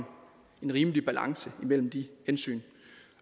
rimelig balance imellem de hensyn